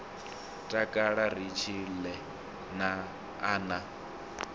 takala ri tshile a na